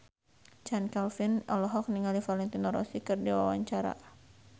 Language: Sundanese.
Chand Kelvin olohok ningali Valentino Rossi keur diwawancara